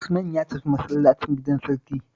Usman ya tafi masallacin gidan sarki